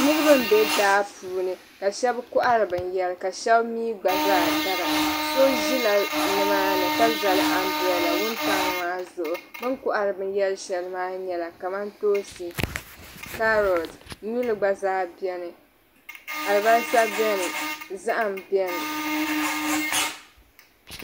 niriba n be daa puuni ka shabi kɔɣiri bɛnyara ka shabi mii gba zaa dara so ʒi la nimaani ka zali anbrella wuntaŋ maa zuɣu bɛn kɔɣiri bɛnyara shɛli maa nyɛla kamantoonsi kaarot nyuli gba zaa beni alibalisa beni zahim beni.